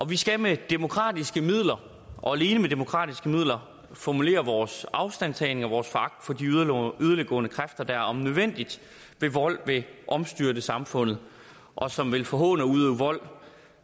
vi skal med demokratiske midler og alene med demokratiske midler formulere vores afstandtagen fra og vores foragt for de yderliggående kræfter der om nødvendigt med vold vil omstyrte samfundet og som vil forhåne og udøve vold